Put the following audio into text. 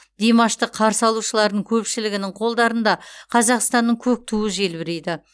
димашты қарсы алушылардың көпшілігінің қолдарында қазақстанның көк туы желбірейді